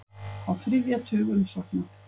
Á þriðja tug umsókna